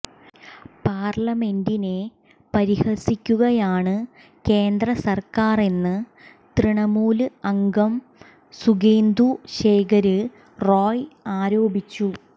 പാര്ലമെന്റിനെ പരിഹസിക്കുകയാണ് കേന്ദ്ര സര്ക്കാറെന്ന് തൃണമൂല് അംഗം സുകേന്ദു ശേഖര് റോയ് ആരോപിച്ചു